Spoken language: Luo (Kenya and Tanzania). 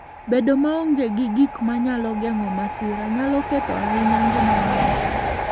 Bedo maonge gi gik manyalo geng'o masira, nyalo ketho ahinya ngima ng'ato.